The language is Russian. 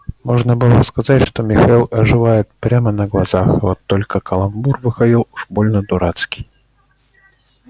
можно было сказать что михаил оживает прямо на глазах вот только каламбур выходил уж больно дурацкий